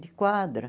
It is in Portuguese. De quadra.